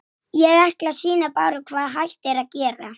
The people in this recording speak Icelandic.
Mig dreymdi fyrir því.